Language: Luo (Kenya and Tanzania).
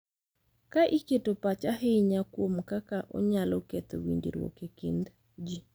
Ka iketo pach ahinya kuom kaka onyalo ketho winjruok e kind ji,